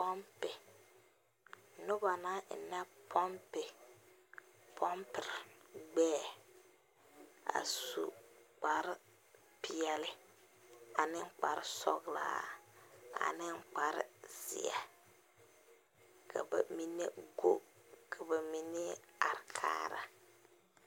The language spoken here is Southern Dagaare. Pompi, neba naŋ eŋne pompi, pompir gbɛɛ a su kpar piɛle ane kpsr sɔglaa ane kpar zie. Ka ba mene guo ka ba mene are kaara